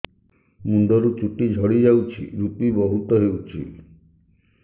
ମୁଣ୍ଡରୁ ଚୁଟି ଝଡି ଯାଉଛି ଋପି ବହୁତ ହେଉଛି